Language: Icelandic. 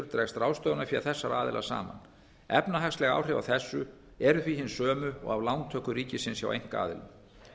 dregst ráðstöfunarfé þessara aðila saman efnahagsleg áhrif af þessu eru því hin sömu og af lántöku ríkisins hjá einkaaðilum